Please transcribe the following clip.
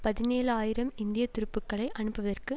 பதினேழு ஆயிரம் இந்திய துருப்புக்களை அனுப்புவதற்கு